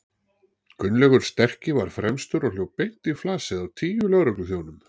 Gunnlaugur sterki var fremstur og hljóp beint í flasið á tíu lögregluþjónum.